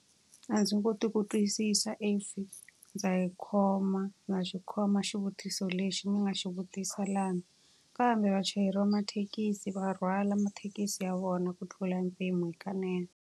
A ndzi koti ku twisisa ndza yi khoma na xi khoma xivutiso lexi ni nga xi vutisa lani. Kambe vachayeri va mathekisi va rhwala mathekisi ya vona ku tlula mpimo hikanene.